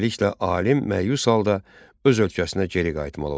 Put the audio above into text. Beləliklə, alim məyus halda öz ölkəsinə geri qayıtmalı olur.